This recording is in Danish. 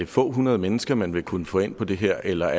få hundrede mennesker man vil kunne få ind på det her eller